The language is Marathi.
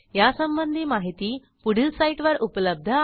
यासंबंधी माहिती पुढील साईटवर उपलब्ध आहे